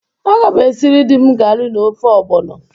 Aga m esiri di m gari na ofe ogbono.